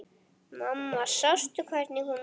Mamma sástu hvernig hún var?